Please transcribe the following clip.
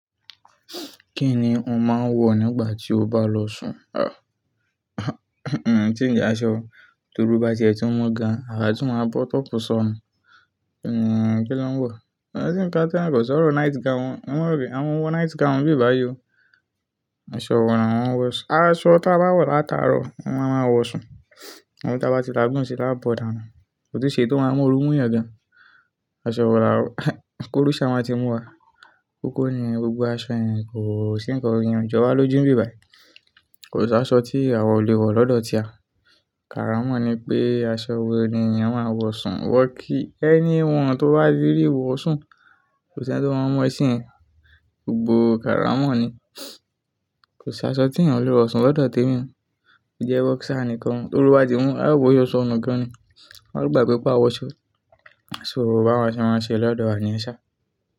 Kí ni ò ń máa ń wọ̀ nígbà tí o bá lọ sùn? Tí ń jẹ́ aṣọ, torí bá jẹ́ tí wọ́n ga, àrá tí wọ́n máa bọ́ tọ́pu sọnu. Umm kí ló ń wọ̀? Ko si kan kan kọ́ sọ̀rọ̀ night gown, wọ́n won ma ropẹ̀, àwon o wo night gown bi báyìí o. Aṣọ wọ̀ lamo wọ̀ sun, aṣọ tí a bá wọ̀ látàárọ̀ oun la máa wọ̀ sùn. Abi tí a bá ti lagùn se la bọ̀ dànù. Ko tu ṣe eyi tó máa múoru mú yan gan. Aṣọ wọ̀ la wọ̀ koru sa máa ti mú wa. Kókó nìyẹn, gbogbo aṣọ yen kò sì ńkankan, ìyen o jowa loju ni bàí. Kò sí aṣọ tí àwa ò lè wọ̀ lọ́dọ̀ tiwa. Kára mọ̀n ni pé aṣọ wẹ́ẹ́rẹ́ ni ènìyàn máa ń wọ̀ sùn, wọ̀ kí anyone tó bá le rí wọ̀ sùn, kò sí ẹni tí o máa mọ̀ e sì yẹ̀n. Gbogbo káramọ̀ ni. Kò sí aṣọ tí èyàn ò lè wọ̀ sùn lọ́dọ̀ temi o. Ó jẹ́ boxer nìkan, torí bá ti mú aàbò yóò sọnu gan ni. A gbàgbe pé a wọ̀ ṣọ so bàwa ṣé mọ́ n ṣe lọ́dọ̀ wa ní yen ṣá.